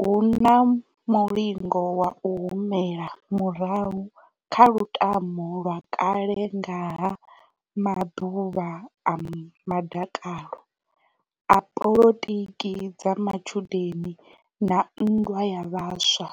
Hu na mulingo wa u humela murahu kha lutamo lwa kale nga ha maḓuvha a madakalo a polotiki dza matshudeni na nndwa ya vhaswa,